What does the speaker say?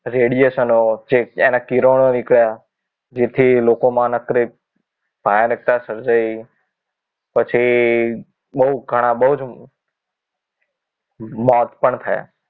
Radiation ઓ જે એના કિરણો નીકળ્યા જેથી લોકોમાં નકરી ભયાનકતા સર્જાઇ પછી બહુ ઘણા બહુ જ મોત પણ થયા